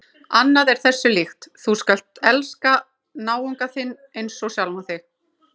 Annað er þessu líkt: Þú skalt elska náunga þinn einsog sjálfan þig.